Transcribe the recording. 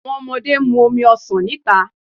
Awọn ọmọde n mu omi ọsan nita